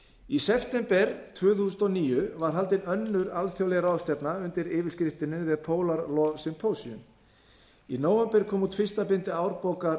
í september tvö þúsund og níu var haldin önnur alþjóðleg ráðstefna undir yfirskriftinni the polar law symposium í nóvember kom út fyrsta bindi